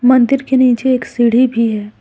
मंदिर के नीचे एक सीढ़ी भी है।